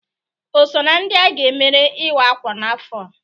O so na ndị a ga-emere iwa-akwa n'afọ a?